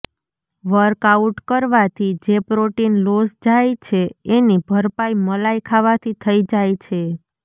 workout કરવાથી જે protein loss જાય છે એની ભરપાઈ મલાઈ ખાવાથી થઈ જાય છે